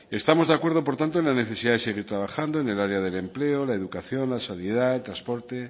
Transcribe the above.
estamos de acuerdo por tanto en la necesidad de seguir trabajando en el área del empleo la educación la sanidad el transporte